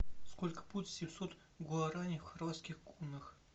сколько будет семьсот гуарани в хорватских кунах